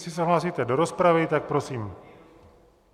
Jestli se hlásíte do rozpravy, tak prosím.